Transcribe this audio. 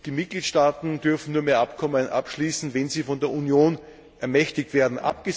Und die Mitgliedstaaten dürfen nur mehr Abkommen abschließen, wenn sie von der Union ermächtigt werden.